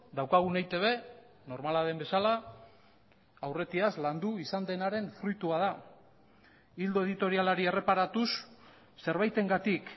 daukagun eitb normala den bezala aurretiaz landu izan denaren fruitua da ildo editorialari erreparatuz zerbaitengatik